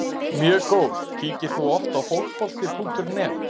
Mjög góð Kíkir þú oft á Fótbolti.net?